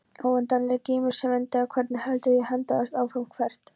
Óendanlegi geimur sem endaði hvergi heldur hélt endalaust áfram- hvert?